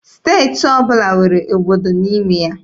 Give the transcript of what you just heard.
Steeti ọbụla nwere obodo n'ime ya.